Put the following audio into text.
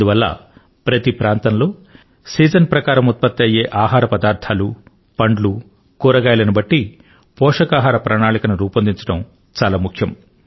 అందువల్ల ప్రతి ప్రాంతంలో సీజన్ ప్రకారం ఉత్పత్తి అయ్యే ఆహార పదార్థాలు పండ్లు కూరగాయలను బట్టి పోషకాహార ప్రణాళికను రూపొందించడం చాలా ముఖ్యం